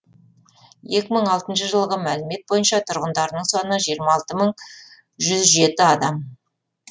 екі мың алтыншы жылғы мәлімет бойынша тұрғындарының саны жиырма алты мың жүз жеті адам